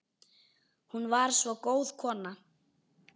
Hún var svo góð kona